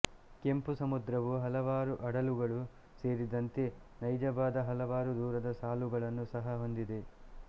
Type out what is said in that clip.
ಕೆಂಪು ಸಮುದ್ರವು ಹಲವಾರು ಅಡಲುಗಳು ಸೇರಿದಂತೆ ನೈಜವಾದ ಹಲವಾರು ದೂರದ ಸಾಲುಗಳನ್ನು ಸಹ ಹೊಂದಿದೆ